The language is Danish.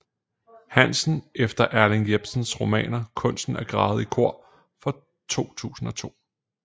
Hansen efter Erling Jepsens romanen Kunsten at græde i kor fra 2002